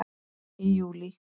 Í júlí